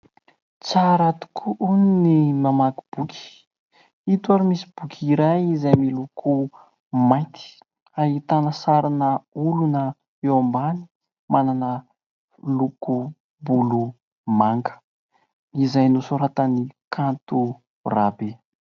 Tsara tokoa ny mamaky boky, ito ary misy boky iray izay miloko mainty ahitana sarina olona eo ambany manana lokom- bolo manga izay nosoratan' i Kanto Rabe.